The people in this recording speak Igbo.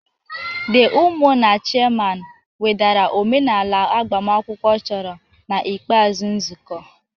The umunna chairman wedara omenala agbamakwụkwọ chọrọ na ikpeazụ nzukọ